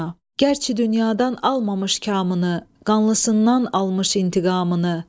Gərçi dünyadan almamış kamını, qanlısından almış intiqamını!